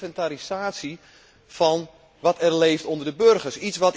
Het is een inventarisatie van wat er leeft onder de burgers.